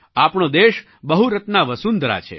આપણો દેશ બહુરત્ના વસુંધરા છે